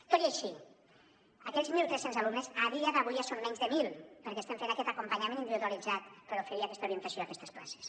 tot i així aquells mil tres cents alumnes a dia d’avui ja són menys de mil perquè estem fent aquest acompanyament individualitzat per oferir aquesta orientació a aquestes places